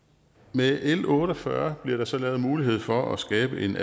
med l otte og fyrre bliver der så lavet mulighed for at skabe en